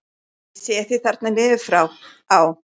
Ég sé þig þarna niður frá: á